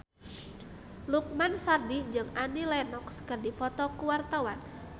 Lukman Sardi jeung Annie Lenox keur dipoto ku wartawan